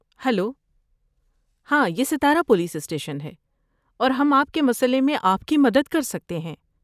Hello, ہاں یہ Satara police station ہے اور ہم آپ کے مسئلے میں آپ کی مدد کر سکتے ہیں۔